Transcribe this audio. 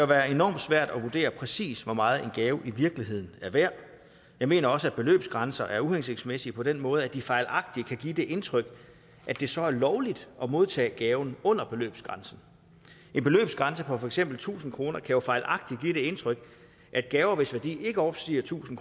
være enormt svært at vurdere præcis hvor meget en gave i virkeligheden er værd jeg mener også at beløbsgrænser er uhensigtsmæssige på den måde at de fejlagtigt kan give det indtryk at det så er lovligt at modtage gaver under beløbsgrænsen en beløbsgrænse på for eksempel tusind kroner kan jo fejlagtigt give det indtryk at gaver hvis værdi ikke overstiger tusind